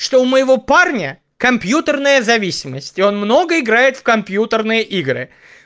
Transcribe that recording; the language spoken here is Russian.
что у моего парня компьютерная зависимость и он много играет в компьютерные игры